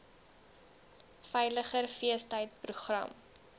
veiliger feestyd program